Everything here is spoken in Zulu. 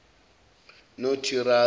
notirase